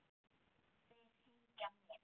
Þeir hengja mig?